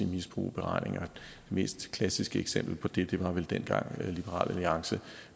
misbruge beregningerne det mest klassiske eksempel på det det var vel dengang liberal alliance